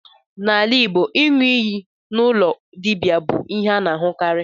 N'ala Igbo, iṅụ iyi n'ụlọ dibia bụ ihe a na-ahụkarị.